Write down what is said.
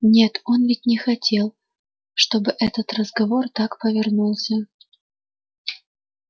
нет он ведь не хотел чтобы этот разговор так повернулся